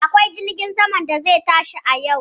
Akwai jirgin saman da zai tashi a yau.